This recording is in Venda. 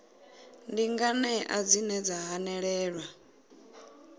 ndi nganea dzine dza hanelelwa